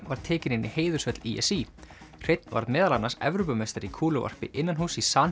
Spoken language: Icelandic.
var tekinn inn í í s í hreinn varð meðal annars Evrópumeistari í kúluvarpi innanhúss í San